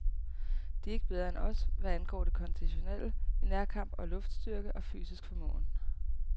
De er ikke bedre end os, hvad angår det konditionelle, i nærkamp og luftstyrke og fysisk formåen.